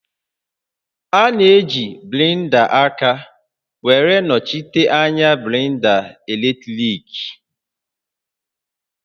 A na-eji blenda aka were nọchite anya blenda eletriki